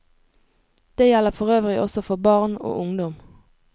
Det gjelder forøvrig også for barn og ungdom.